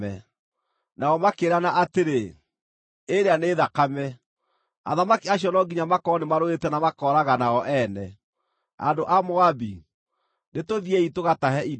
Nao makĩĩrana atĩrĩ, “Ĩĩrĩa nĩ thakame! Athamaki acio no nginya makorwo nĩmarũĩte na makooragana o ene. Andũ a Moabi, nĩtũthiĩi tũgatahe indo!”